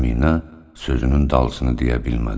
Əminə sözünün dalısını deyə bilmədi.